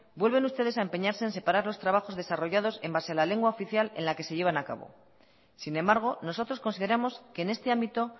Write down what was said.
vuelven ustedes a empeñarse en separar los trabajos desarrollados en base a la lengua oficial en la que se llevan a cabo sin embargo nosotros consideramos que en este ámbito